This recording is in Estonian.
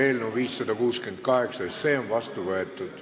Eelnõu 568 on seadusena vastu võetud.